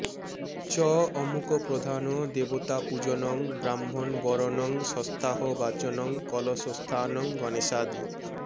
চ অমুক প্রধান দেবতা পূজনং ব্রাহ্মণবরণং স্বস্ত্যাহবাচনং কলশস্থানং গণেশাদি